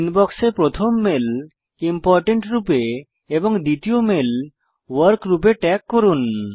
ইনবক্সে প্রথম mail important রূপে এবং দ্বিতীয় মেল ভর্ক রূপে ট্যাগ করুন